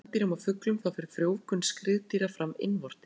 Eins og hjá spendýrum og fuglum þá fer frjóvgun skriðdýra fram innvortis.